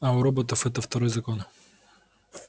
а у роботов это второй закон